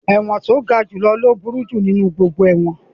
Ẹ̀wọ̀n tí ó ga jù lọ ní ó burú jù nínú gbogbo ẹ̀wọ̀n